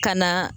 Ka na